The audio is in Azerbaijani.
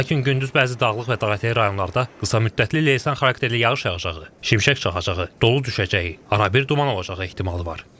Lakin gündüz bəzi dağlıq və dağətəyi rayonlarda qısa müddətli leysan xarakterli yağış yağacağı, şimşək çaxacağı, dolu düşəcəyi, arabir duman olacağı ehtimalı var.